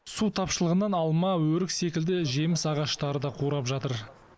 су тапшылығынан алма өрік секілді жеміс ағаштары да қурап жатыр